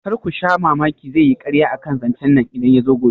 Karku sha mamaki zaiyi karya akan zancen nan idan yazo gobe